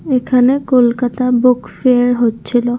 এখানে Kolkata book fair হচ্ছিলো ।